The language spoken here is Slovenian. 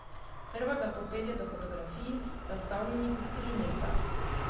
Prva ga popelje do fotografij, razstavljenih v skrinjicah.